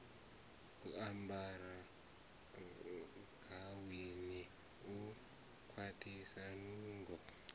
ambaraho gaweni u kwaṱhisa nungo